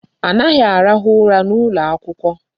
Anaghị arahụ ụra n'ụlọ akwụkwọ.